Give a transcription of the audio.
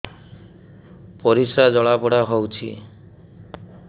ପରିସ୍ରା ଜଳାପୋଡା ହଉଛି